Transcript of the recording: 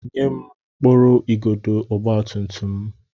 Nye m mkpụrụ igodo ọgbatumtum m!